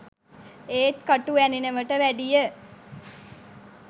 ඒත් කටු ඇනෙනවට වැඩිය